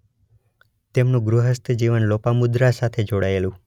તેમનું ગૃહસ્થ જીવન લોપામુદ્રા સાથે જોડાયેલું